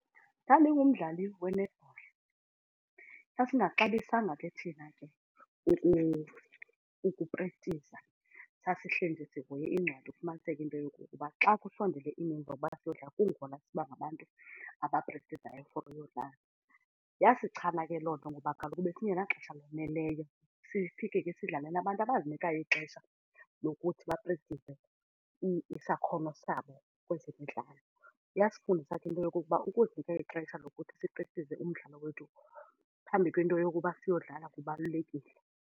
Ndandingumdlali we-netball. Sasingaxabisanga ke thina ke ukuprekthiza sasihleli sihoye iincwadi ufumaniseke into yokokuba xa kusondele iimini zokuba siyodlala kungona siba ngabantu abaprekthizayo for ukuyodlala. Yasichana ke loo nto ngoba kaloku besingenaxesha laneleyo sifike ke sidlale nabantu abazinikayo ixesha lokuthi baprekthize isakhono sabo kwezemidlalo. Yasifundisa ke leyo ukuba ukuzinika ixesha lokuthi siprekthize umdlalo wethu phambi kwento yokuba siyodlala kubalulekile.